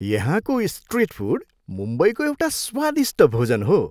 यहाँको street food मुम्बईको एउटा स्वादिष्ट भोजन हो।